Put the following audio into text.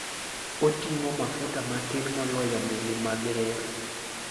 Oting'o mafuta matin moloyo meli mag reru.